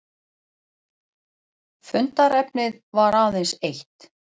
Fundarefnið var aðeins eitt